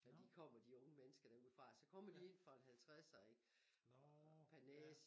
Når de kommer de unge mennesker derude fra så kommer de ind for en 50'er ikke per næse